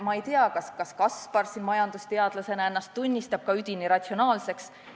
Ma ei tea, kas näiteks Kaspar majandusteadlasena tunnistab ennast üdini ratsionaalseks inimeseks.